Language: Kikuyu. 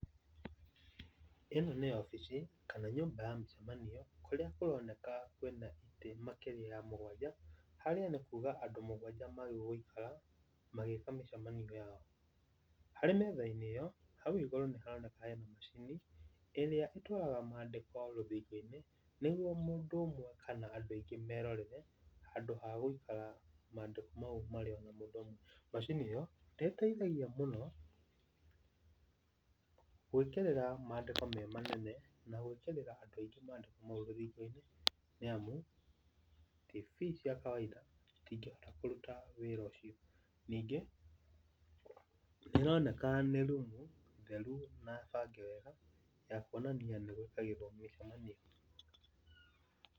Ĩno nĩ wabici kana nyũmba ya mĩcemanio kũrĩa kũroneka kwĩna itĩ makĩria ya mũgwanja harĩa nĩ kũũga andũ mũgwanja magĩrĩirwo nĩ gũikara magĩĩka mĩcemanio yao. Harĩ metha-inĩ ĩyo, hau igũũrũ nĩharoneka hena macini ĩrĩa ĩtwaraga mandĩko rũthingo-inĩ nĩguo mũndũ ũmwe kana andũ aingĩ merorere handũ ha gũikara mandĩko mau marĩ ona mũndũ ũmwe. Macini ĩyo nĩĩteithagia mũno gwĩkĩrĩra mandĩko me manene na gwĩkĩrĩra andũ aingĩ mandĩko mau rũthingo-inĩ nĩamu Tv cia kawaida citingĩhota kũruta wĩra ũcio. Ningĩ nĩĩroneka nĩ room theru na bange wega ya kuonania nĩ gwĩkagĩrwo mĩcemanio.